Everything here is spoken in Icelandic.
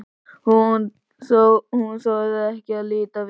Hún þorir ekki að líta við.